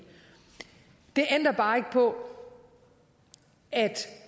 det ændrer bare ikke på at